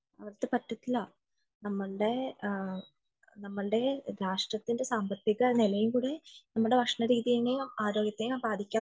അവർക്ക് പറ്റത്തില്ല നമ്മളുടെ രാഷ്ട്രത്തിന്റെ സാമ്പത്തിക നിലയും കൂടി നമ്മുടെ ഭക്ഷണ രീതിയെയും ആരോഗ്യത്തെയും ബാധിക്കും